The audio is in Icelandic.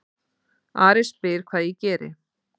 Ari spyr hvað ég geri.